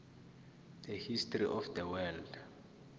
the history of the world